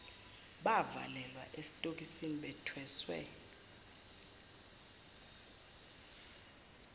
bavalelwa esitokisini bethweswe